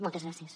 moltes gràcies